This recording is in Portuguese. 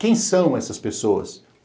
Quem são essas pessoas?